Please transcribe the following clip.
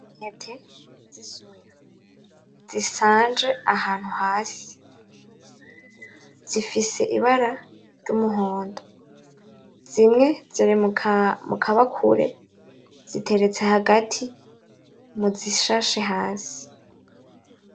Intete z'isoya zisanje ahantu hasi zifise ibara ry'umuhondo zimwe ziri mukabakure ziteretse hagati muzishashe hasi .